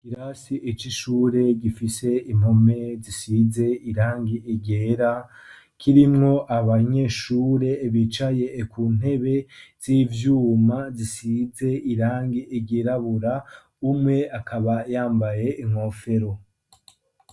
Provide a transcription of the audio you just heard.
Ikirasi c' ishure gifise impome zisize irangi ryera kirimwo abanyeshure bicaye ku ntebe z'ivyuma zisize irangi ryirabura, umwe akaba yambaye inkofero.